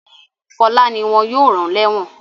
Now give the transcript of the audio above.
Fọlá ni wọ́n yóò rán lẹ́ẹ́wọ̀n.